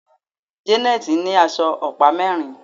Janet ní aṣọ ọ̀pá mérin.